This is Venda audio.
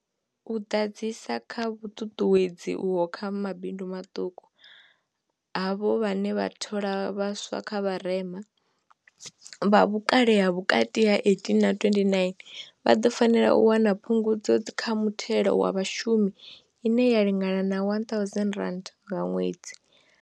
U ḓadzisa kha vhuṱuṱuwedzi uho kha mabindu maṱuku, havho vhane vha thola vhaswa kha vharema, vha vhukale ha vhukati ha 18 na 29, vha ḓo fanela u wana Phungudzo kha Muthelo wa Vhashumi ine ya lingana R1 000 nga ṅwedzi.